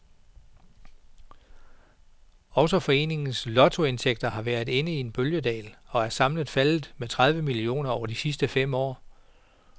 Også foreningens lotteriindtægter har været inde i en bølgedal og er samlet faldet med tredive millioner over de sidste fem år.